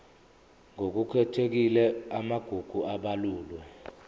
ngokukhethekile amagugu abalulwe